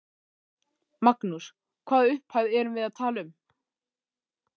Magnús: Hvaða upphæð erum við að tala um?